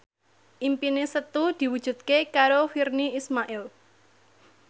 impine Setu diwujudke karo Virnie Ismail